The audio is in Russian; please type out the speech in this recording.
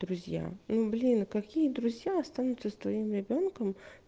друзья ну блин какие друзья останутся с твоим ребёнком